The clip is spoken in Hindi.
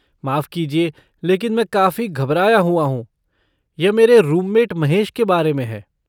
माफ़ कीजिए लेकिन मैं काफ़ी घबराया हुआ हूँ, यह मेरे रूममेट महेश के बारे में है।